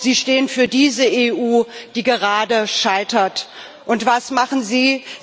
Sie stehen für diese EU, die gerade scheitert, und was machen Sie?